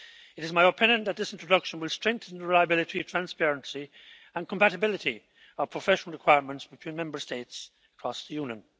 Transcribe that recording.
It is my opinion that this introduction will strengthen the reliability, transparency and compatibility of professional requirements between Member States across the Union.